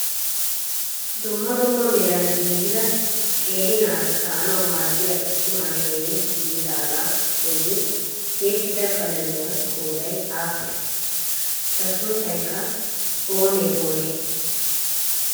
Dumma dumma meran giiggida qeeri naati kaa'anaw maaddiyaa issi maashinee giiggidaaga bolli tiyyettida qalamiyaa qooday aappunne? Eta sunttaykka oonee oonee?